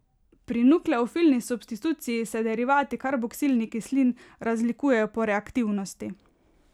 Pri nukleofilni substituciji se derivati karboksilnih kislin razlikujejo po reaktivnosti.